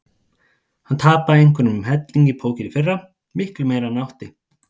Hann tapaði einhverjum helling í póker í fyrra, miklu meira en hann átti.